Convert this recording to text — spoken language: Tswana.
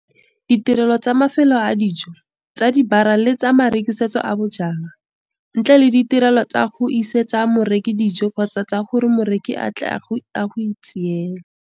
Ditirelo tsa mafelo a dijo, tsa dibara le tsa marekisetso a bojalwa, ntle le ditirelo tsa go isetsa moreki dijo kgotsa tsa gore moreki a tle go itseela.